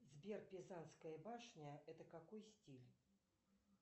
сбер пизанская башня это какой стиль